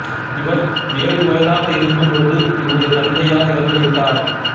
இவர் ஏழு வயதாக இருக்கும் பொழுது இவருடைய தந்தையார் இறந்து விட்டார்